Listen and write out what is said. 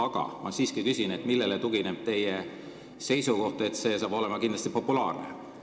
Aga ma siiski küsin: millele tugineb teie seisukoht, et see saab olema kindlasti populaarne?